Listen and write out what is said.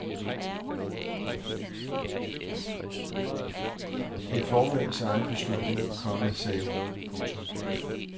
Det er formandens egen beslutning, komma sagde hun. punktum